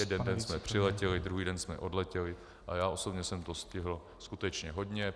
Jeden den jsme přiletěli, druhý den jsme odletěli a já osobně jsem toho stihl skutečně hodně.